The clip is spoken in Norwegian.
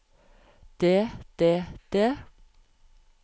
det det det